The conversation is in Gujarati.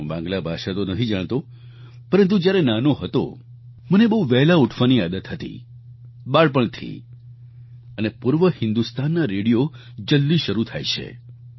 હું બાંગ્લા ભાષા તો નથી જાણતો પરંતુ જ્યારે નાનો હતો મને બહુ વહેલા ઉઠવાની આદત હતી બાળપણથી અને પૂર્વ હિન્દુસ્તાનનાં રેડિયો જલ્દી શરૂ થાય છે